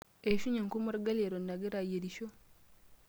Eishunye enkurma olgali eton agira ayierisho.